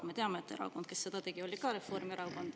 Me teame, et erakond, kes seda tegi, oli ka Reformierakond.